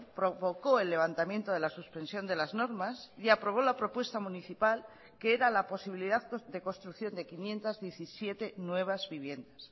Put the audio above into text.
provocó el levantamiento de la suspensión de las normas y aprobó la propuesta municipal que era la posibilidad de construcción de quinientos diecisiete nuevas viviendas